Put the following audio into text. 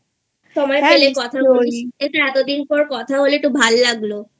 সময় পেলে কথা বলিস এই তো এতদিন পর কথা বললি একটু ভালো লাগলোI